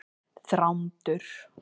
Þrándur